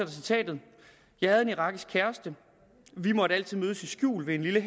citatet jeg havde en irakisk kæreste vi måtte altid mødes i skjul ved en lille